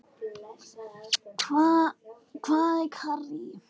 Hvað er karrí?